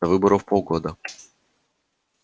до выборов полгода